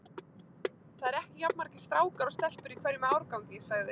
Það eru ekki jafn margir strákar og stelpur í hverjum árgangi sagði